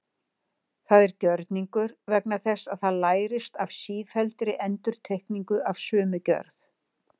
Það er gjörningur vegna þess að það lærist af sífelldri endurtekningu af sömu gjörð.